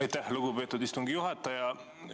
Aitäh, lugupeetud istungi juhataja!